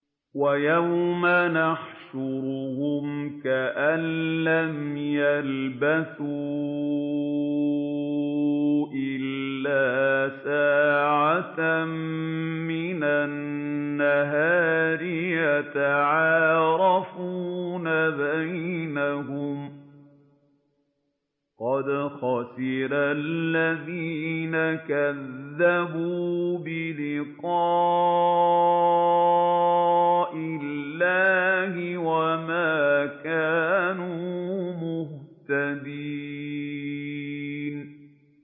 وَيَوْمَ يَحْشُرُهُمْ كَأَن لَّمْ يَلْبَثُوا إِلَّا سَاعَةً مِّنَ النَّهَارِ يَتَعَارَفُونَ بَيْنَهُمْ ۚ قَدْ خَسِرَ الَّذِينَ كَذَّبُوا بِلِقَاءِ اللَّهِ وَمَا كَانُوا مُهْتَدِينَ